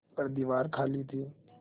पर दीवार खाली थी